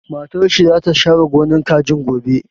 Matar shi za ta share gonar kajin gobe